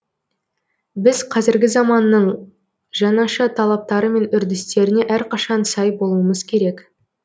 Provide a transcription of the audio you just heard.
біз қазіргі заманның жаңаша талаптары мен үрдістеріне әрқашан сай болуымыз керек